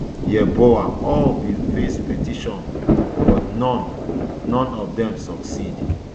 yeboah all bin face petition but none none of dem succeed